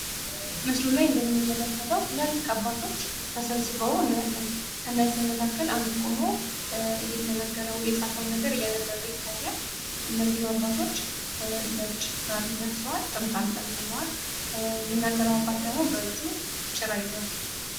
ምስሉ ላይ እንደምንመለከተው ታላላቅ አባቶች ተሰብስበው እናያለን። ከነዚህ መካከል አንዱ ቁሞ እየተናገረ የጻፈውን እያነበበ ይታያል። እነዚህም አባቶች ነጭ ጋቢ ለብሰዋል። ጥምጣም ጠምጥመዋል። የሚናገረው ደግሞ በእጁ ጭራ ይዟል።